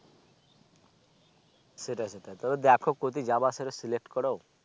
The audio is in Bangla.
সেটাই সেটাই তবে দেখো কতি যাবার সময় Select করো